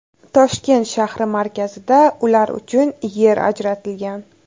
Toshkent shahri markazida ular uchun yer ajratilgan.